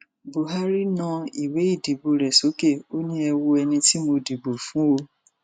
buhari na ìwé ìdìbò rẹ sókè ó ní ẹ wo ẹni tí mo dìbò fún ọ